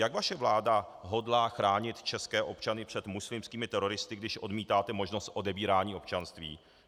Jak vaše vláda hodlá chránit české občany před muslimskými teroristy, když odmítáte možnost odebírání občanství?